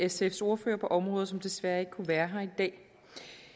sfs ordfører på området som desværre ikke kunne være her i dag